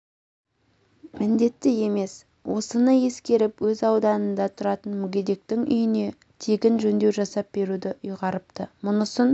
міндетті емес осыны ескеріп өз ауданында тұратын мүгедектің үйіне тегін жөндеу жасап беруді ұйғарыпты мұнысын